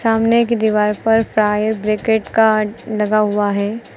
सामने की दीवार पर फायर ब्रिगेट कार्ड लगा हुआ है।